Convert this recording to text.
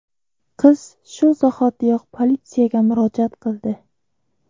Qiz shu zahotiyoq politsiyaga murojaat qildi.